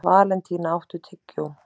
Valentína, áttu tyggjó?